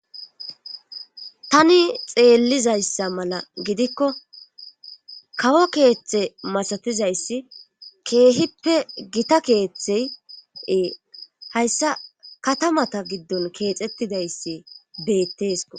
Tani xeellizayssa mala gidikko kawo keeththe masatizayssi keehippe gita keeththey ee hayssa katamata giddon keexettidayssi beettesko.